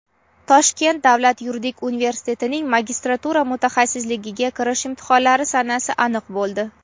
Toshkent davlat yuridik universitetining magistratura mutaxassisligiga kirish imtihonlari sanasi aniq bo‘ldi.